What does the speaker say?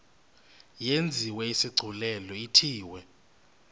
yenziwe isigculelo ithiwe